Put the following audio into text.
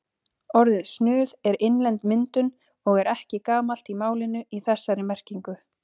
Orðið snuð er innlend myndun og er ekki gamalt í málinu í þessari merkingu.